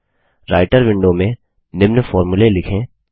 writer window में निम्न फोर्मुले लिखें